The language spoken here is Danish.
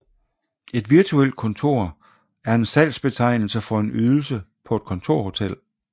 Et Virtuelt kontor er en salgsbetegnelse for en ydelse på et kontorhotel